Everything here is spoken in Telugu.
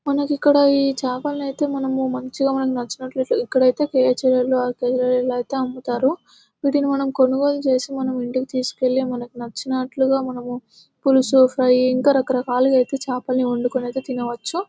మనకు ఇక్కడ ఈ చాపలు అయితే మనము మంచిగా మనకు నచ్చినట్లు ఇక్కడైతే కేజీలలో అరకేజీ లులో ఇలా అయితే అమ్ముతారు వీటిని మనము కొనుగోలు చేసి మనం ఇంటికి తీసుకెళ్లి మనకు నచ్చినట్లుగా మనము పులుసు ఫ్రై ఇంకా రకరకాలుగా అయితే చేపల్ని వండుకుని అయితే తినవచ్చు.